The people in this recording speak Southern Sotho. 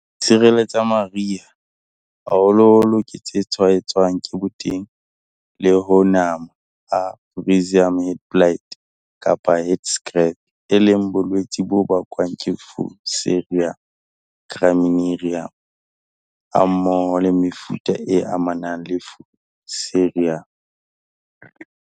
Diserele tsa mariha, koro, habore, kgarese le lebasetere la koro le rokgo haholoholo ke tse tshwaetswang ke boteng le ho nama ha Fusarium Head Blight, FHB kapa Head Scab, e leng bolwetse bo bakwang ke Fusarium graminearum, e boetseng e tsejwa ka la Gibberella zeae hammoho le mefuta e amanang le Fusarium.